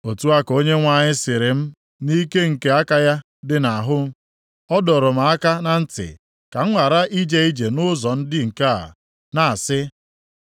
Otu a ka Onyenwe anyị sịrị m nʼike nke aka ya dị nʼahụ, ọ dọrọ m aka na ntị ka m ghara ije ije nʼụzọ ndị nke a, na-asị: